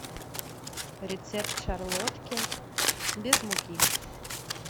рецепт шарлотки без муки